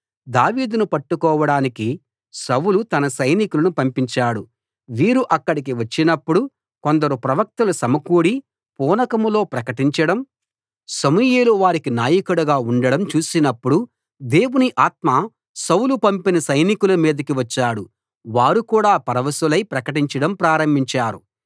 దావీదును పట్టుకోవడానికి సౌలు తన సైనికులను పంపించాడు వీరు అక్కడికి వచ్చినప్పుడు కొందరు ప్రవక్తలు సమకూడి పూనకంలో ప్రకటించడం సమూయేలు వారికి నాయకుడుగా ఉండడం చూసినప్పుడు దేవుని ఆత్మ సౌలు పంపిన సైనికుల మీదకి వచ్చాడు వారు కూడా పరవశులై ప్రకటించడం ప్రారంభించారు